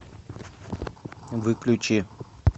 выключи